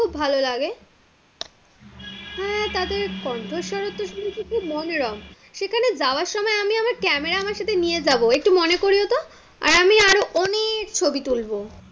খুব ভালো লাগে, হ্যাঁ, তাদের কণ্ঠস্বর তো শুনছি তো মনোরম, সেখানে যাবার সময় আমি আমার ক্যামেরা আমার সাথে নিয়ে যাবো একটু মনে করিয়ো তো এবং আমি আরো ও অনেক ছবি তুলবো,